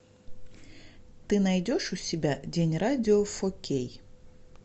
ты найдешь у себя день радио фо кей